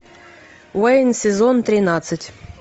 уэйн сезон тринадцать